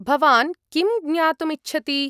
भवान् किं ज्ञातुम् इच्छति?